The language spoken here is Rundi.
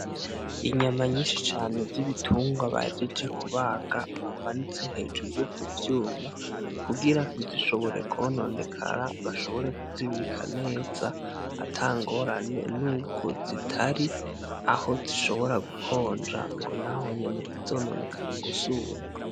Inyama nyinshi cane z'ibitunrwa bahejeje kubaga, bamanitse hejuru ku vyuma kugira ntibishobore kononekara, bashobore kuzibika neza, ata ngorane n'ubwo zitari aho zishobora gukonja ngo naho nyene ntizononekare gusumba.